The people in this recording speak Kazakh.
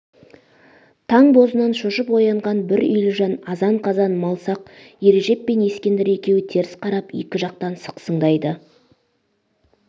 таң бозынан шошып оянған бір үйлі жан азан-қазан малсақ ережеп пен ескендір екеуі теріс қарап екі жақтан сықсыңдайды